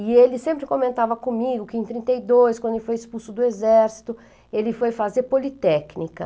E ele sempre comentava comigo que em trinta e dois, quando ele foi expulso do exército, ele foi fazer politécnica.